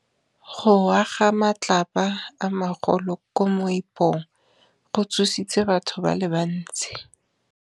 Go wa ga matlapa a magolo ko moepong go tshositse batho ba le bantsi.